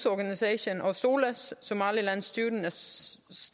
organisation og solsa somaliland students